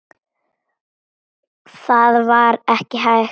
Það var ekki hægt.